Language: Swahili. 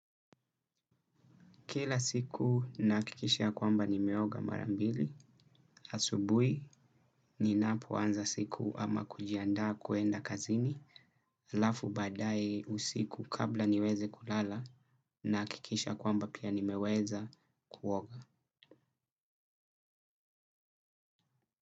Kila siku nahakikisha ya kwamba nimeoga mara mbili, asubuhi ninapoanza siku ama kujiandaa kuenda kazini, halafu baadaye usiku kabla niweze kulala nahakikisha kwamba pia nimeweza kuoga.